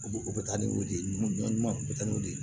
U bɛ u bɛ taa n'u de ye ɲɔn ɲuman u bɛ taa n'u ye